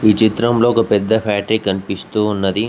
ఈ చిత్రంలో ఒక పెద్ద ఫ్యాక్టరీ కనిపిస్తూ ఉన్నది.